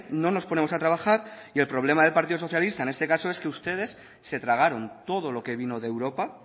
no nos ponemos a trabajar y el problema del partido socialista en este caso es que ustedes se tragaron todo lo que vino de europa